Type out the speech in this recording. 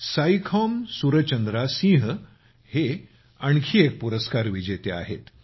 साइखौमसुरचंद्रासिंहहे आणखी एक पुरस्कार विजेते आहेत